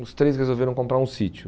Os três resolveram comprar um sítio.